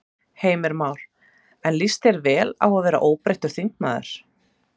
Heimir Már: En líst þér vel á að verða óbreyttur þingmaður?